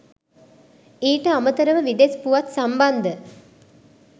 ඊට අමතරව විදෙස් පුවත් සම්බන්ධ